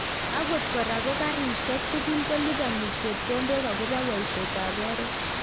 Akot kora ko karishek tukul kolibani chepkondok akobo boishet ab oret.